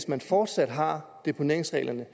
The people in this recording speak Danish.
man fortsat har deponeringsreglerne